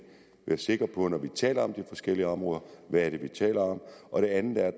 sikre på når vi taler om de forskellige områder hvad vi taler om det andet er at